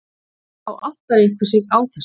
Þá áttar einhver sig á þessu.